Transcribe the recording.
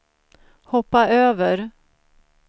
hoppa över